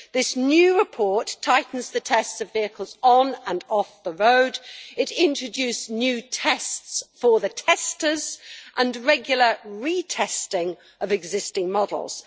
This new report tightens the tests of vehicles on and off the road, it introduces new tests for the testers and regular re testing of existing models.